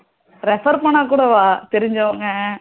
refer பண்ணா கூடவா தெரிஞ்சவங்க